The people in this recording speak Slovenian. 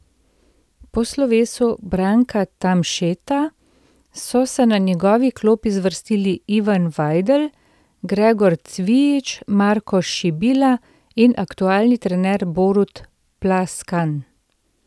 Po slovesu Branka Tamšeta so se na njegovi klopi zvrstili Ivan Vajdl, Gregor Cvijič, Marko Šibila in aktualni trener Borut Plaskan.